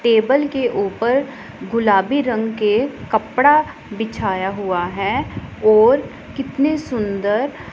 table के ऊपर गुलाबी रंग के कपड़ा बिछाया हुआ है और कितने सुंदर--